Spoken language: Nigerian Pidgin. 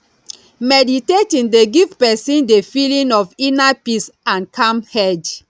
meditating dey give person di feeling of inner peace and calm head